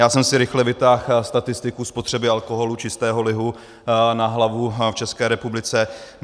Já jsem si rychle vytáhl statistiku spotřeby alkoholu, čistého lihu na hlavu v České republice.